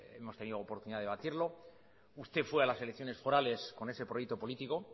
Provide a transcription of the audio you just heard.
hemos tenido oportunidad de debatirlo usted fue a las elecciones forales con ese proyecto político